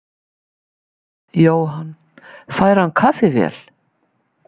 Jóhann: Fær hann kaffivél?